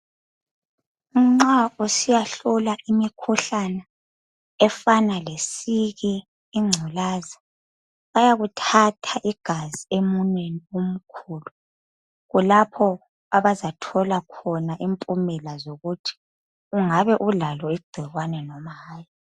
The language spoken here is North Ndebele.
Nxa usiya hlola imikhuhlane efana lesiki ingculaza bayakuthatha igazi emunweni omkhulu kulapho abazathola khona impumela zokuthi ungabe ulalo igcikwane loba hayi.